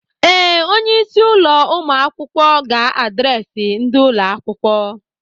Ee, onye isi ụlọ ụmụ akwụkwọ ga adreesị ndị ụlọ akwụkwọ.